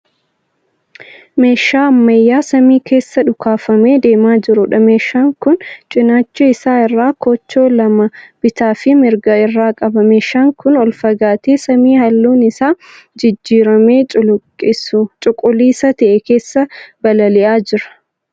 Meeshaa ammayyaa samii keessa dhukaafamee deemaa jiruudha. Meeshaan kun cinaacha isaa irraa koochoo lama bitaafi mirgaa irraa qaba. Meeshaan kun ol fagaatee samii halluun isaa jijjiiramee cuquliisa ta'e keessa balali'aa jira.